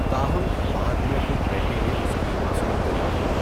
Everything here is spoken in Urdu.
تاہم، بعد میں خود ریڈی نے اس کی عصمت دری کی۔